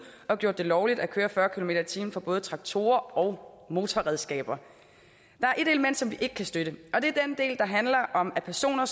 og gjort det lovligt at køre fyrre kilometer per time for både traktorer og motorredskaber der er et element som vi ikke kan støtte og det er den del der handler om at personer